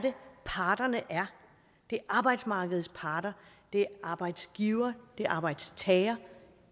parterne er det er arbejdsmarkedets parter det er arbejdsgiver det er arbejdstager